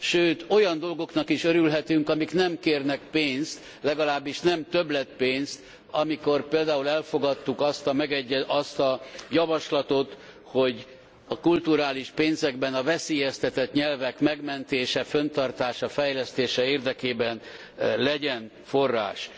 Sőt olyan dolgoknak is örülhetünk, amik nem kérnek pénzt, legalábbis nem többletpénzt, amikor például elfogadtuk azt a javaslatot, hogy a kulturális pénzekben a veszélyeztetett nyelvek megmentése, fenntartása, fejlesztése érdekében legyen forrás.